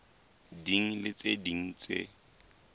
ding le tse ding tse